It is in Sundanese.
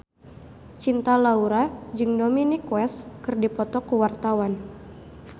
Cinta Laura jeung Dominic West keur dipoto ku wartawan